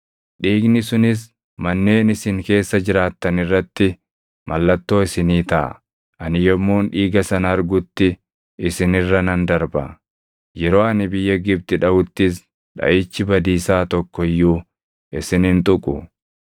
Dhiigni sunis manneen isin keessa jiraattan irratti mallattoo isinii taʼa; ani yommuun dhiiga sana argutti isin irra nan darba. Yeroo ani biyya Gibxi dhaʼuttis dhaʼichi badiisaa tokko iyyuu isin hin tuqu.